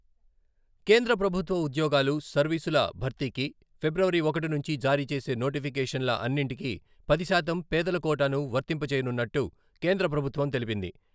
కేంద్ర ప్రభుత్వ ఉద్యోగాలు, సర్వీసుల భర్తీకి ఫిబ్రవరి ఒకటి నుంచి జారీ చేసే నోటిఫికేషన్ల అన్నింటికి పది శాతం పేదల కోటాను వర్తింపజేయనున్నట్టు కేంద్ర ప్రభుత్వం తెలిపింది.